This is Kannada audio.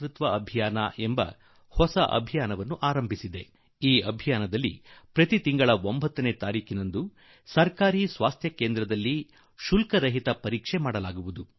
ಪ್ರಧಾನಮಂತ್ರಿ ಸುರಕ್ಷಿತ ತಾಯ್ತನದ ಅಭಿಯಾನ ಈ ಆಂದೋಲನದ ಅಡಿಯಲ್ಲಿ ಪ್ರತಿ ತಿಂಗಳ 9ನೇ ತಾರೀಖು ಎಲ್ಲಾ ಗರ್ಭಿಣಿ ಮಹಿಳೆಯರಿಗೆ ಎಲ್ಲಾ ಆರೋಗ್ಯ ಕೇಂದ್ರದಲ್ಲಿ ಉಚಿತ ಆರೋಗ್ಯ ತಪಾಸಣೆ ಮಾಡಲಾಗುವುದು